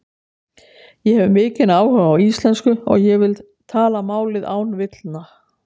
Ég hef mikinn áhuga á íslensku og ég vil tala málið án villna.